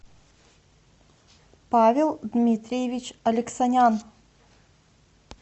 павел дмитриевич алексанян